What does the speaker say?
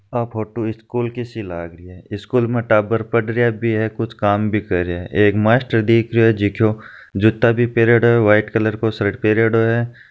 आ photo school की सी लागरी है स्कूल माँ टाबर पड़रिया भी है कुछ काम भी करिया है मास्टर दिख रहिये है जो को जूता बी पेरिडियो है व्हाइट कलर का शर्ट भी पैरेडो है।